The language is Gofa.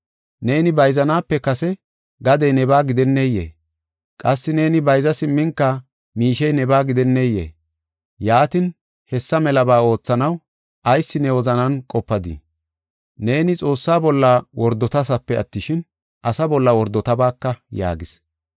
Neeni bayzanaape kase gadey nebaa gidenneyee? Qassi neeni bayza simminka miishey nebaa gidenneyee? Yaatin, hessa melaba oothanaw ayis ne wozanan qopadii? Neeni Xoossa bolla wordotadasape attishin, asa bolla wordotabaaka” yaagis.